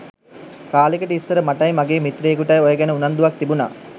කාලෙකට ඉස්සර මටයි මගේ මිත්‍රයෙකුටයි ඔය ගැන උනන්දුවක් තිබුනා.